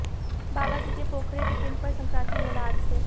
बाबाजी के पोखरे के पिंड पर संक्रांति मेला अाज से